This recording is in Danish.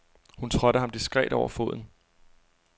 Hun trådte ham diskret over foden.